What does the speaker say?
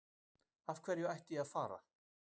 Af hverju ætti ég að fara?